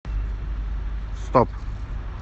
стоп